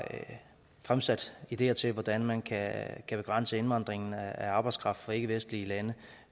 fremsat ideer til hvordan man kan kan begrænse indvandringen af arbejdskraft fra ikkevestlige lande